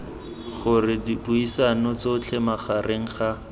gore dipuisano tsotlhe magareng ga